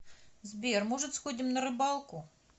сбер может сходим на рыбалку